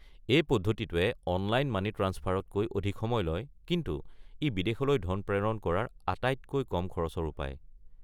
এই পদ্ধতিটোৱে online money ট্ৰাঞ্চফাৰতকৈ অধিক সময় লয়, কিন্তু ই বিদেশলৈ ধন প্ৰেৰণ কৰাৰ আটাইতকৈ কম খৰচৰ উপায়।